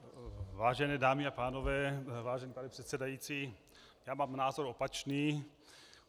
Vážené dámy a pánové, vážený pane předsedající, já mám názor opačný.